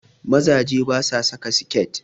Mazaje basu saka siket